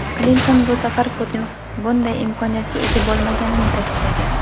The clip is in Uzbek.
Klinton bu safar Putin bunday imkoniyatga ega bo‘lmaganini ta’kidlagan.